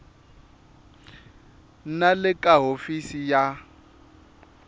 na le ka hofisi ya